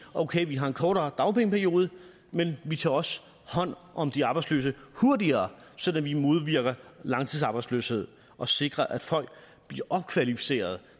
okay vi har en kortere dagpengeperiode men vi tager også hånd om de arbejdsløse hurtigere sådan at vi modvirker langtidsarbejdsløshed og sikrer at folk bliver opkvalificeret